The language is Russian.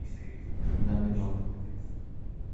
домино